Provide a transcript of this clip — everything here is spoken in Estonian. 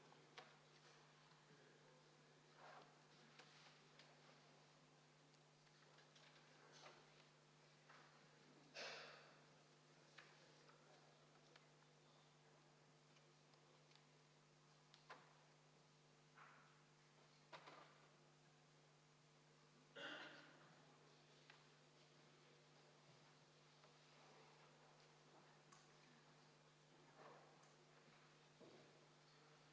Palun valimiskomisjoni liikmetel asuda hääli lugema.